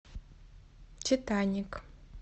титаник